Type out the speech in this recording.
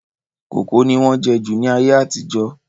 Kókò ni wọ́n jẹ́ jù ní ayé àtijọ́